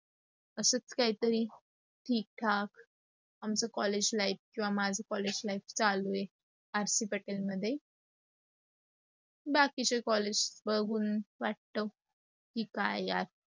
असंच काहीतरी ठीक ठाक आमच collage life किवा माझ collage life चालू आहे. R C Patil मध्ये. बाकीचे collage बघून वाटत की काय यात